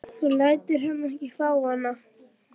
Þú lætur hann ekki fá hana!